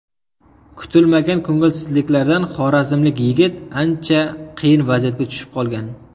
Kutilmagan ko‘ngilsizlikdan xorazmlik yigit ancha qiyin vaziyatga tushib qolgan.